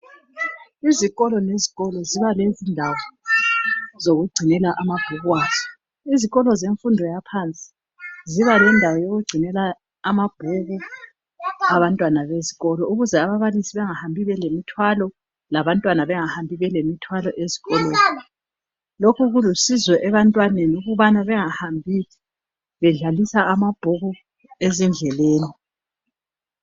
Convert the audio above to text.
Izikolo lezikolo ziba lezindawo zokugcinela amabhuku azo. Izikolo zemfundo yaphansi ziba lendawo yokugcinela amabhuku abantwana besikolo ukuze ababalisi bangahambi belemithwalo labantwana bengahambi bele mthwalo esikolo. Lokhu kulusizo ebantwaneni ukubana bengahambi bedlalisa amabhuku ezindleleni.